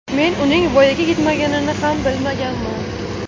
Men uning voyaga yetmaganini ham bilmaganman.